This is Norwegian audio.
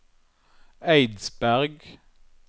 Eidsberg